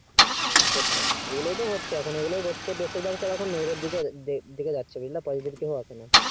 হুম সেটাই এগুলোই তো হচ্ছে এখন এগুলোই হচ্ছে বেশিরভাগ সব এখন negative দিকে যাচ্ছে বুজলা positive দিকে কেও যায়না